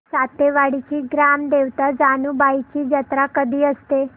सातेवाडीची ग्राम देवता जानुबाईची जत्रा कधी असते